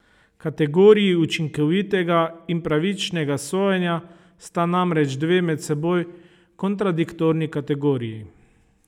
Kategoriji učinkovitega in pravičnega sojenja sta namreč dve med seboj kontradiktorni kategoriji.